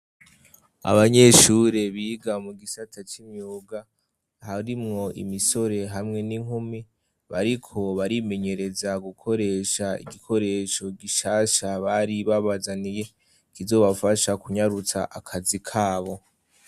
Abanyeshure biga mu gisata c'imyuga harimwo imisore hamwe n'inkumi bariko barimenyereza gukoresha igikoresho gishasha bari babazaniye, kizobafasha kunyarutsa akazi kabo.